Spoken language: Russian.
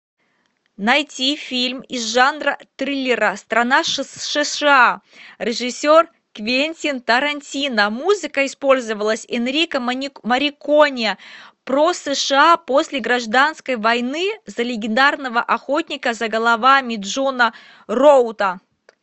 найти фильм из жанра триллера страна сша режиссер квентин тарантино музыка использовалась энрико морриконе про сша после гражданской войны за легендарного охотника за головами джона роута